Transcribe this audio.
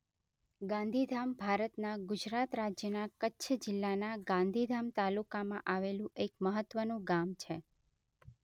ગાંધીધામ ભારતના ગુજરાત રાજ્યના કચ્છ જિલ્લાના ગાંધીધામ તાલુકામાં આવેલું એક મહત્વનું ગામ છે.